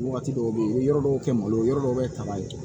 Wagati dɔw bɛ yen i bɛ yɔrɔ dɔw kɛ malo yɔrɔ dɔw bɛ taga ye